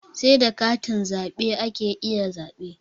Sai da katin zaɓe ake iya zaɓe.